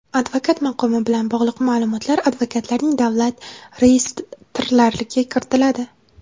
Advokat maqomi bilan bog‘liq ma’lumotlar advokatlarning davlat reyestrlariga kiritiladi.